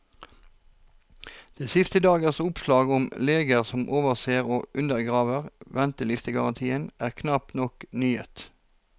De siste dagers oppslag om leger som overser og undergraver ventetidsgarantien, er knapt noen nyhet.